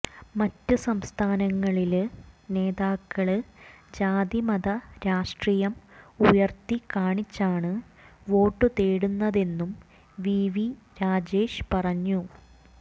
മറ്റ് സംസ്ഥാനങ്ങളില് നേതാക്കള് ജാതി മത രാഷ്ട്രീയം ഉയര്ത്തി കാണിച്ചാണ് വോട്ട് തേടുന്നതെന്നും വി വി രാജേഷ് പറഞ്ഞു